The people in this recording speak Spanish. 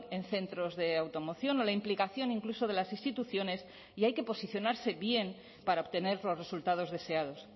en centros de automoción o la implicación incluso de las instituciones y hay que posicionarse bien para obtener los resultados deseados